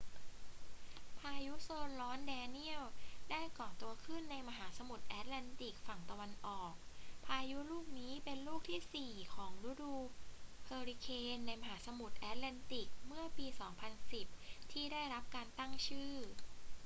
พายุโซนร้อนแดเนียลได้ก่อตัวขึ้นในมหาสมุทรแอตแลนติกฝั่งตะวันออก พายุลูกนี้เป็นลูกที่สี่ของฤดูเฮอริเคนในมหาสมุทรแอตแลนติกเมื่อปี 2010 ที่ได้รับการตั้งชื่อ